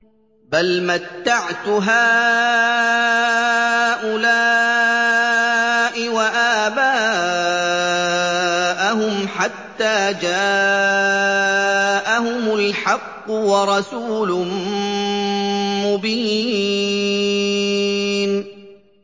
بَلْ مَتَّعْتُ هَٰؤُلَاءِ وَآبَاءَهُمْ حَتَّىٰ جَاءَهُمُ الْحَقُّ وَرَسُولٌ مُّبِينٌ